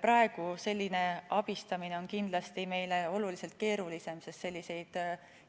Praegu oleks meil selline abistamine kindlasti oluliselt keerulisem, sest selliseid